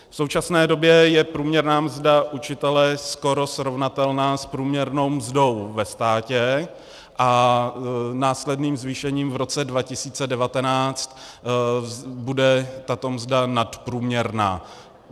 V současné době je průměrná mzda učitele skoro srovnatelná s průměrnou mzdou ve státě a následným zvýšením v roce 2019 bude tato mzda nadprůměrná.